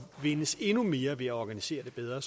vindes endnu mere ved at organisere det bedre